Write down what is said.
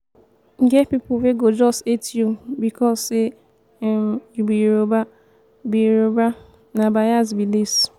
e get pipo wey go just hate you becos say um you be yoruba be yoruba na bais be dis.